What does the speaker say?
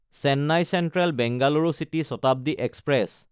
Chennai Central Bengaluru city Shatabdi express